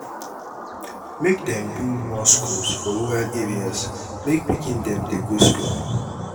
make dem build more skools for rural areas make pikin dem dey go skool.